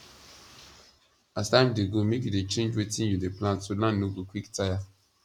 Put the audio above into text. as time dey go make you dey change wetin you dey plant so land no go quick tire